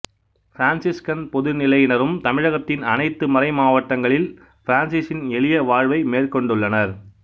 Franciscan பொதுநிலையினரும் தமிழத்தின் அணைத்து மறைமாவட்டங்களில் பிரான்சிசின் எளிய வாழ்வை மேற்கொண்டுள்ளனர்